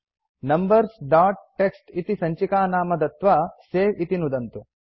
numbers dot TXT इति सञ्चिकानाम दत्त्वा सवे इति नुदन्तु